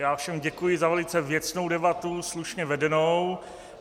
Já všem děkuji za velice věcnou debatu, slušně vedenou.